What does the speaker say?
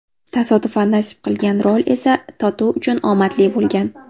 Tasodifan nasib qilgan rol esa Totu uchun omadli bo‘lgan.